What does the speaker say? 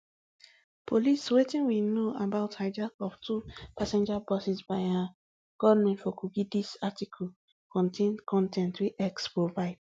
police wetin we know about hijack of two passenger buses by um gunmen for kogi dis article contain con ten t wey x provide